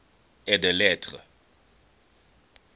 et des lettres